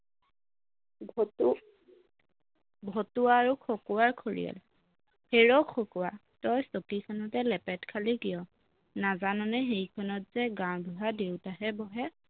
ভতু ভতুৱা আৰু খকুৱাৰ খৰিয়াল হেৰৌ খকুৱা, তই চকীখনতে লেপেট খালি কিয় নাজাননে সেইখনতযে গাঁওবুঢ়া দেউতাহে বহে